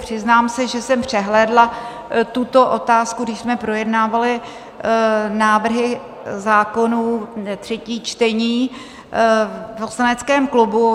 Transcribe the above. Přiznám se, že jsem přehlédla tuto otázku, když jsme projednávali návrhy zákonů, třetí čtení v poslaneckém klubu.